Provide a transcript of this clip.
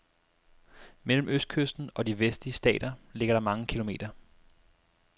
Mellem østkysten og de vestlige stater ligger der mange kilometer.